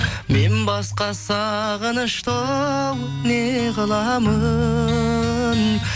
мен басқа сағынышты оу неғыламын